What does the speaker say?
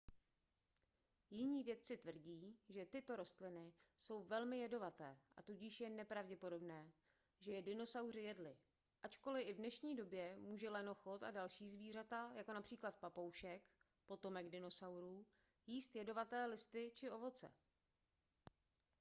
jiní vědci tvrdí že tyto rostliny jsou velmi jedovaté a tudíž je nepravděpodobné že je dinosauři jedli ačkoliv i v dnešní době může lenochod a další zvířata jako například papoušek potomek dinosaurů jíst jedovaté listy či ovoce